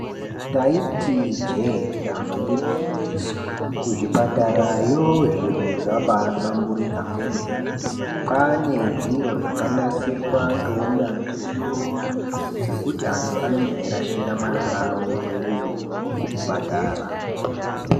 Taiti ijee damba igwinyiso, kuzvipatarayo zviro zvabaahlamburuka kwemene, kwaane zviro zvakanasirwa ngeunyanzvi ukurutu zvekuti antu anenge eirashira marara ikweyo kuzvipatara.